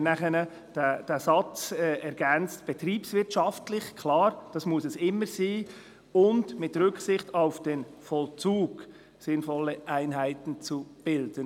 Deshalb haben wir nachher diesen Satz ergänzt: «betriebswirtschaftlich» – klar, das muss es immer sein – «und mit Rücksicht auf den Vollzug möglichst sinnvolle Einheiten zu bilden».